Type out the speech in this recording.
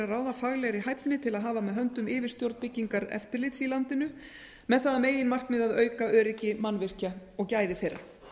ráða faglegri hæfni til að hafa með höndum yfirstjórn byggingareftirlits í landinu með það að meginmarkmiði að auka öryggi mannvirkja og gæði þeirra